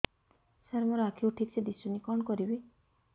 ସାର ମୋର ଆଖି କୁ ଠିକସେ ଦିଶୁନି କଣ କରିବି